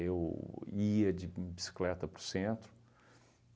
ia de bicicleta para o centro.